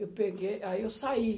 Eu peguei, aí eu saí.